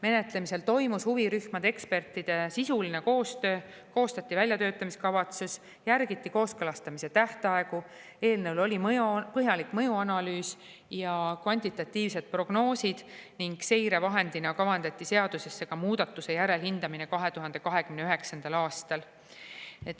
Menetlemisel toimus huvirühmade ja ekspertide sisuline koostöö, koostati väljatöötamiskavatsus, järgiti kooskõlastamise tähtaegu, eelnõu kohta tehti põhjalik mõjuanalüüs ja kvantitatiivsed prognoosid ning seirevahendina kavandati seadusesse ka muudatuse järelhindamine 2029. aastal.